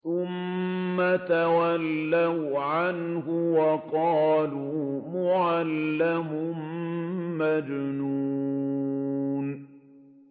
ثُمَّ تَوَلَّوْا عَنْهُ وَقَالُوا مُعَلَّمٌ مَّجْنُونٌ